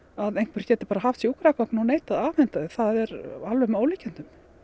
að einhver geti bara haft sjúkragögn og neitað að afhenda þau það er alveg með ólíkindum